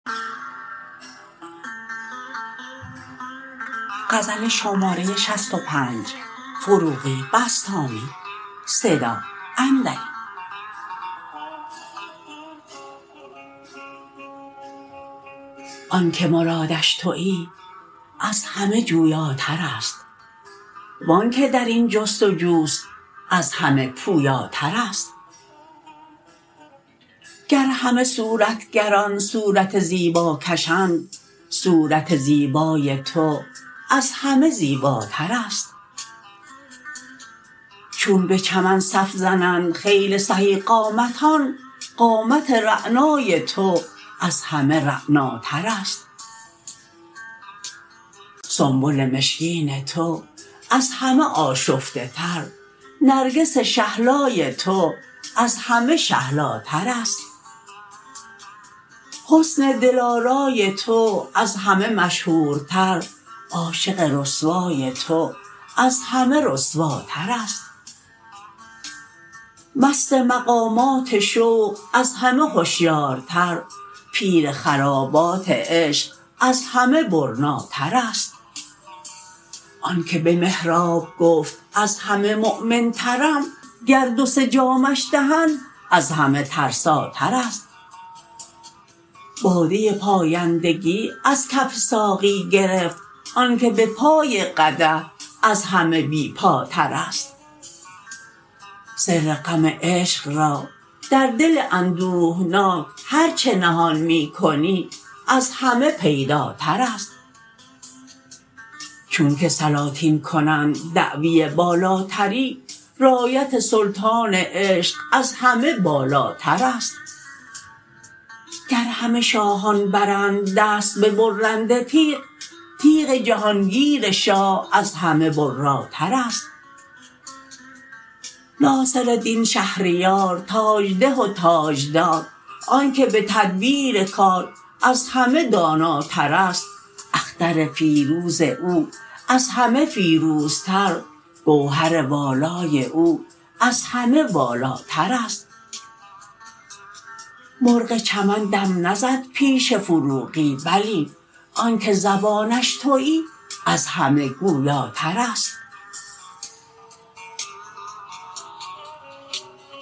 آن که مرادش تویی از همه جویاتر است وان که در این جستجو است از همه پویاتر است گر همه صورتگران صورت زیبا کشند صورت زیبای تو از همه زیباتر است چون به چمن صف زنند خیل سهی قامتان قامت رعنای تو از همه رعناتر است سنبل مشکین تو از همه آشفته تر نرگس شهلای تو از همه شهلاتر است حسن دل آرای تو از همه مشهورتر عاشق رسوای تو از همه رسواتر است مست مقامات شوق از همه هشیارتر پیر خرابات عشق از همه برناتر است آن که به محراب گفت از همه مؤمن ترم گر دو سه جامش دهند از همه ترساتر است باده پایندگی از کف ساقی گرفت آن که به پای قدح از همه بی پاتر است سر غم عشق را در دل اندوهناک هر چه نهان می کنی از همه پیداتر است چون که سلاطین کنند دعوی بالاتری رایت سلطان عشق از همه بالاتر است گر همه شاهان برند دست به برنده تیغ تیغ جهان گیر شاه از همه براتر است ناصردین شهریار تاج ده و تاج دار آن که به تدبیر کار از همه داناتر است اختر فیروز او از همه فیروزتر گوهر والای او از همه والاتر است مرغ چمن دم نزد پیش فروغی بلی آن که زبانش تویی از همه گویاتر است